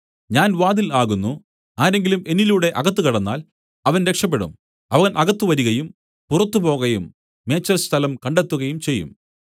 ഞാൻ വാതിൽ ആകുന്നു ആരെങ്കിലും എന്നിലൂടെ അകത്ത് കടന്നാൽ അവൻ രക്ഷപെടും അവൻ അകത്ത് വരികയും പുറത്തു പോകയും മേച്ചൽസ്ഥലം കണ്ടെത്തുകയും ചെയ്യും